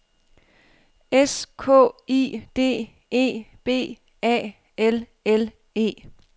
S K I D E B A L L E